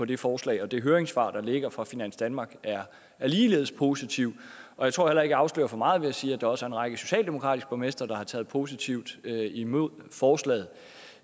det forslag det høringssvar der ligger fra finans danmark er ligeledes positivt og jeg tror heller jeg afslører for meget ved at sige at der også er en række socialdemokratiske borgmestre der har taget positivt imod forslaget